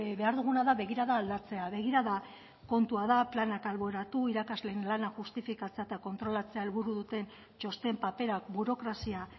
behar duguna da begirada aldatzea begirada kontua da planak alboratu irakasleen lana justifikatzea eta kontrolatzea helburu duten txosten paperak burokrazia